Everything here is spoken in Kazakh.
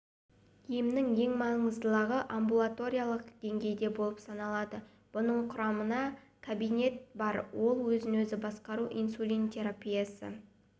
емнің ең маңыздылығы амбулаториялық деңгейде болып саналады бұның құрамында кабинет бар ол өзін-өзі басқару инсулин терапиясы